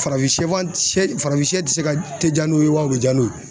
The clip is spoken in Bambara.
Farafin sɛfan farafin siyɛ ti se ka tɛ ja n'o ye wa o be ja n'u ye ?